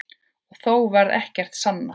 Og þó varð ekkert sannað.